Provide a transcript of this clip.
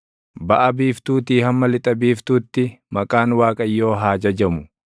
Baʼa biiftuutii hamma lixa biiftuutti, maqaan Waaqayyoo haa jajamu.